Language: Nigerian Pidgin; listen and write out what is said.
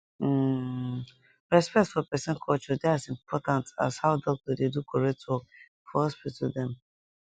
hmmm respect for peson culture dey as important as how doc dey do correct work for hospital dem